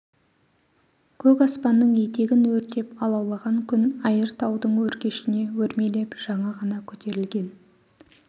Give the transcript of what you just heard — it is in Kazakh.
көк аспанның етегін өртеп алаулаған күн айыр таудың өркешіне өрмелеп жаңа ғана көтерлген